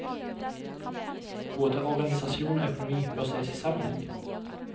Både organisasjon og økonomi bør ses i sammenheng.